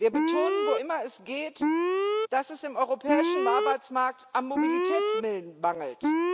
Wir betonen, wo immer es geht, dass es am europäischen Arbeitsmarkt am Mobilitätswillen mangelt.